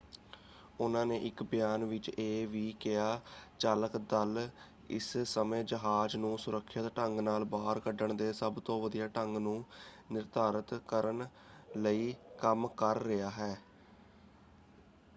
ਉਨ੍ਹਾਂ ਨੇ ਇੱਕ ਬਿਆਨ ਵਿੱਚ ਇਹ ਵੀ ਕਿਹਾ ਚਾਲਕ ਦਲ ਇਸ ਸਮੇਂ ਜਹਾਜ਼ ਨੂੰ ਸੁਰੱਖਿਅਤ ਢੰਗ ਨਾਲ ਬਾਹਰ ਕੱਢਣ ਦੇ ਸਭ ਤੋਂ ਵਧੀਆ ਢੰਗ ਨੂੰ ਨਿਰਧਾਰਤ ਕਰਨ ਲਈ ਕੰਮ ਕਰ ਰਿਹਾ ਹੈ"।